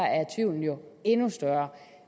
at tvivlen jo er endnu større